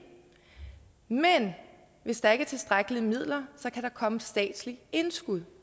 men hvis der ikke er tilstrækkelige midler kan der komme et statsligt indskud